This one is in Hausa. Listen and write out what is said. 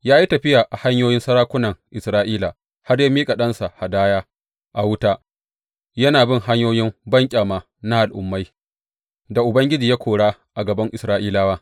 Ya yi tafiya a hanyoyin sarakunan Isra’ila har ya miƙa ɗansa hadaya a wuta, yana bin hanyoyin banƙyama na al’ummai da Ubangiji ya kora a gaban Isra’ilawa.